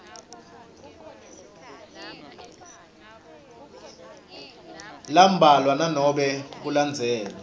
lambalwa nanobe kulandzelwe